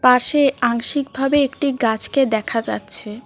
পাশে আংশিকভাবে একটি গাছকে দেখা যাচ্ছে।